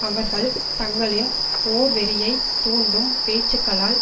அவர்கள் தங்களின் போர் வெறியைத் தூண்டும் பேச்சுக்களால்